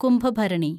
Kumbhabharani